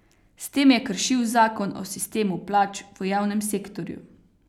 S tem je kršil zakon o sistemu plač v javnem sektorju.